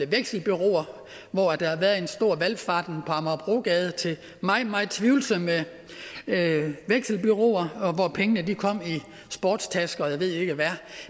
vekselbureauer hvor der har været en stor valfart på amagerbrogade til meget meget tvivlsomme vekselbureauer og hvor pengene kom i sportstasker og jeg ved ikke hvad